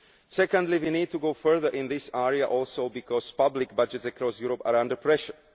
Secondly, we need to go further in this area also because public budgets across Europe are under pressure.